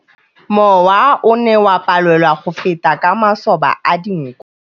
Mowa o ne o palelwa ke go feta ka masoba a dinko.